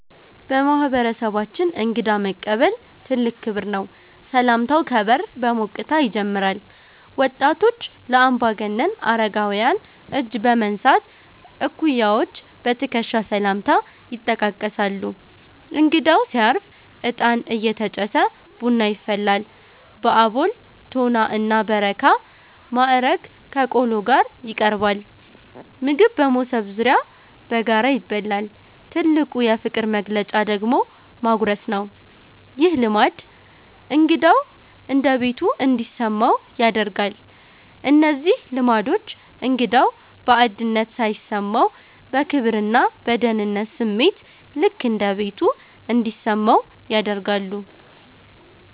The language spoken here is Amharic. በማህበረሰባችን እንግዳ መቀበል ትልቅ ክብር ነው። ሰላምታው ከበር በሞቅታ ይጀምራል። ወጣቶች ለአምባገነን አረጋውያን እጅ በመንሳት፣ እኩያዎች በትከሻ ሰላምታ ይጠቃቀሳሉ። እንግዳው ሲያርፍ እጣን እየተጨሰ ቡና ይፈላል። በአቦል፣ ቶና እና በረካ ማዕረግ ከቆሎ ጋር ይቀርባል። ምግብ በመሶብ ዙሪያ በጋራ ይበላል። ትልቁ የፍቅር መግለጫ ደግሞ ማጉረስ ነው። ይህ ልማድ እንግዳው እንደ ቤቱ እንዲሰማው ያደርጋል። እነዚህ ልማዶች እንግዳው ባዕድነት ሳይሰማው፣ በክብርና በደህንነት ስሜት "ልክ እንደ ቤቱ" እንዲሰማው ያደርጋሉ።